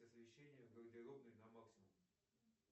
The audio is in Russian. освещение в гардеробной на максимум